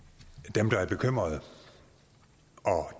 dem der er bekymrede og